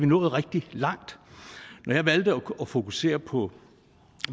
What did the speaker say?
nået rigtig langt når jeg valgte at fokusere på